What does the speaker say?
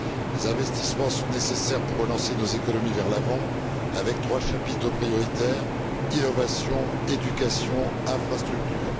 Les investissements sont nécessaires pour relancer nos économies vers l'avant avec trois chapitres prioritaires innovation, éducation, infrastructures.